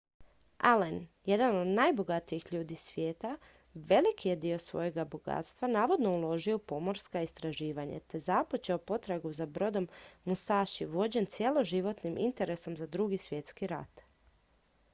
allen jedan od najbogatijih ljudi svijeta velik je dio svojeg bogatstva navodno uložio u pomorska istraživanja te započeo potragu za brodom musashi vođen cjeloživotnim interesom za drugi svjetski rat